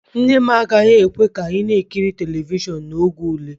Nne m agaghị ekwe ka ị na-ekiri telivishọn n'oge ule